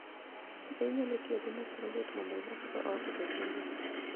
Be inyalo tiyo gi mach maliet mondo ilosgo ot obed maliet?